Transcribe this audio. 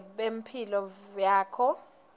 budze bemphendvulo yakho